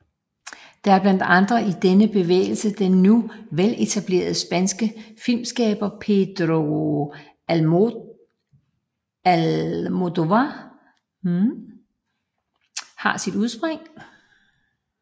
Det er blandt andet i denne bevægelse den nu veletablerede spanske filmskaber Pedro Almodóvar har sit udspring